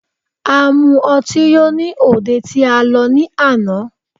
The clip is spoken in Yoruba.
A mu ọtí yó ní òde tí a lọ ní àná.